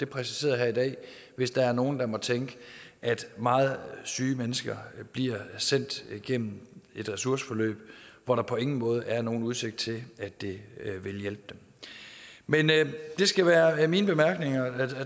præciseret her i dag hvis der er nogen der måtte tænke at meget syge mennesker bliver sendt gennem et ressourceforløb hvor der på ingen måde er nogen udsigt til at det vil hjælpe dem men det skal være mine bemærkninger